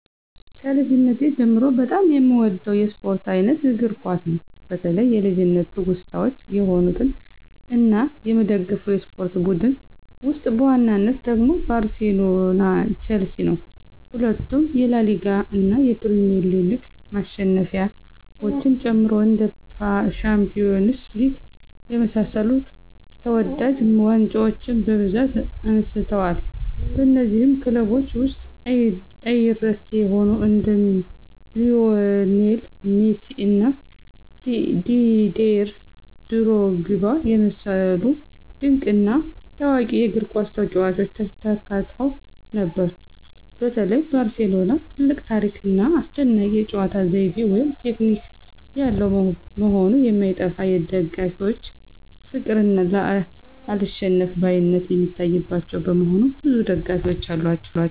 ከልጅነቴ ጀምሮ በጣም የምወደው የስፖርት አይነት እግር ኳስ ነው። በተለይ የልጅነት ትውስታዎች የሆኑት እና የምደግፈው የስፖርት ቡድን ውስጥ በዋናነት ደግሞ ባርሴሎና ቸልሲ ነው። ሁለቱም የላሊጋ እና የፕሪሚየር ሊግ ማሸነፊያዎችን ጨምሮ እንደ ሻምፒዮንስ ሊግ የመሳሰሉ ተወዳጅ ዋንጫዎችን በብዛት አንስተዋል። በነዚህም ክለቦች ውስጥ አይረሴ የሆኑ እንደ ሊዎኔል ሜሲ እና ዲዴር ድሮግባ የመሰሉ ድንቅ እና ታዋቂ የእግርኳስ ተጫዋቾች ተካተው ነበር። በተለይ ባርሴሎና ትልቅ ታሪክ ና አስደናቂ የጨዋታ ዘይቤ (ቴክኒክ) ያለው መሆኑ የማይጠፋ የደጋፊዎች ፍቅር እና አልሸነፍባይነት የሚታይባቸው በመሆኑ ብዙ ደጋፊዎች አሏቸው።